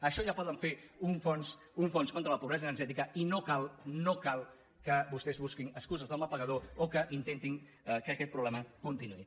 això ja poden fer un fons contra la pobre sa energètica i no cal no cal que vostès busquin excuses de mal pagador o que intentin que aquest problema continuï